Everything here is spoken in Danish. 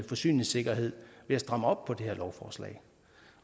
forsyningssikkerheden ved at stramme op på det her lovforslag